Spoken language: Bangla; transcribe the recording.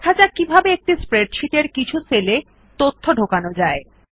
দেখা যাক কিভাবে একটি স্প্রেডশীট এর কিছু সেল এ তথ্য ঢোকানো যায়